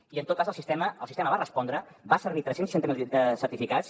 i en tot cas el sistema va respondre va servir tres cents i seixanta miler certificats